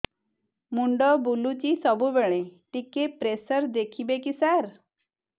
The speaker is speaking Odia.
ମୁଣ୍ଡ ବୁଲୁଚି ସବୁବେଳେ ଟିକେ ପ୍ରେସର ଦେଖିବେ କି ସାର